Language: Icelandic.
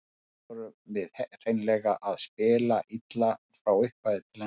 Í dag vorum við hreinlega að spila illa, frá upphafi til enda.